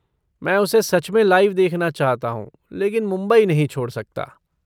मैं उसे सच में लाइव देखना चाहता हूँ, लेकिन मुंबई नहीं छोड़ सकता।